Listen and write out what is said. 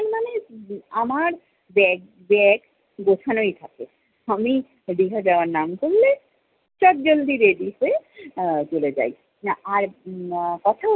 আমার bagtag গোছানোই থাকে। আমি, দীঘা যাওয়ার নাম করলে চটজলদি ready হয়ে আহ চলে যাই। না আর আহ কথা